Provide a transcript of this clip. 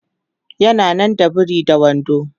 yana nan da biri da wando